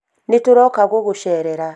nĩtũroka gũgũcerera